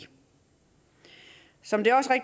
som